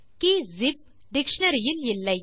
K zip dictionary இல் இல்லை